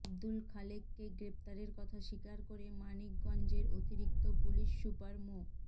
আব্দুল খালেককে গ্রেপ্তারের কথা স্বীকার করে মানিকগঞ্জের অতিরিক্ত পুলিশ সুপার মো